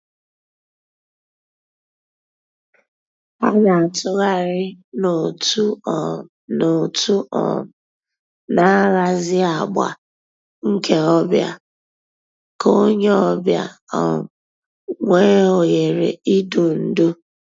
Hà nà-àtụ̀ghàrì n'òtù um n'òtù um nà-àhàzì àgbà nke ò bịa kà ònyè ọ̀ bịa um nwee òhèrè ídù ndú.